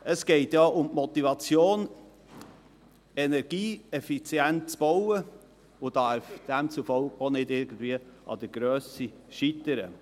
Es geht um die Motivation, energieeffizient zu bauen, und es darf demzufolge nicht an der Grösse scheitern.